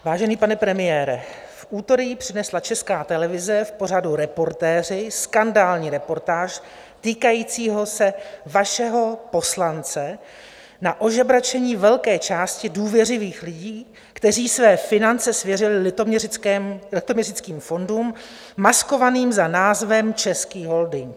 Vážený pane premiére, v úterý přinesla Česká televize v pořadu Reportéři skandální reportáž týkající se vašeho poslance na ožebračení velké části důvěřivých lidí, kteří své finance svěřili litoměřickým fondům maskovaným za názvem Český holding.